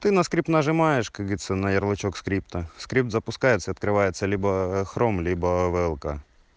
ты на скрип нажимаешь как говорится на ярлычок скрипта скрипт запускается открывается либо хром либо влк